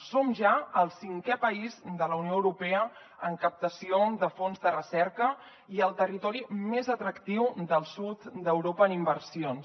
som ja el cinquè país de la unió europea en captació de fons de recerca i el territori més atractiu del sud d’europa en inversions